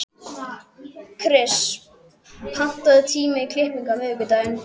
Kris, pantaðu tíma í klippingu á miðvikudaginn.